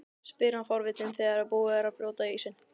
spyr hann forvitinn þegar búið er að brjóta ísinn.